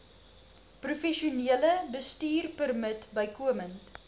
professionele bestuurpermit bykomend